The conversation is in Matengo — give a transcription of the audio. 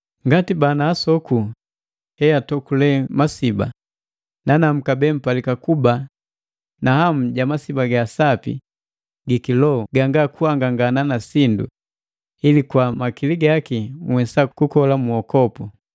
Ngati bana asoku heatokule masiba, nanamu kabee mpalika kuba na hamu ja masiba ga sapi gi kiloho ganga kuhangangana na sindu, ili kwa makili gaki nhwesa kukola mu uwokopu,